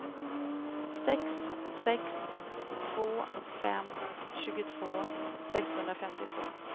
sex sex två fem tjugotvå sexhundrafemtiotvå